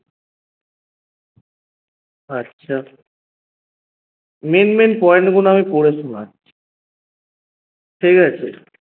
আচ্ছা main main point গুলা আমি পড়ে শুনাচ্ছি ঠিকাছে